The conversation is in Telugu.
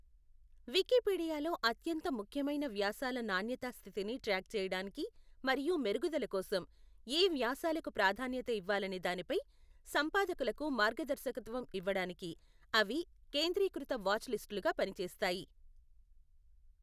వికీపీడియాలో అత్యంత ముఖ్యమైన వ్యాసాల నాణ్యతా స్థితిని ట్రాక్ చేయడానికి మరియు మెరుగుదల కోసం, ఏ వ్యాసాలకు ప్రాధాన్యత ఇవ్వాలనే దానిపై సంపాదకులకు మార్గదర్శకత్వం ఇవ్వడానికి, అవి కేంద్రీకృత వాచ్ లిస్ట్లుగా పనిచేస్తాయి.